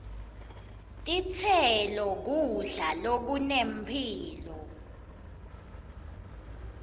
titselo kudla lokunemphilo